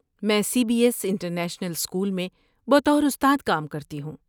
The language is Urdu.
میں C B S international school میں بطور استاد کام کرتی ہوں۔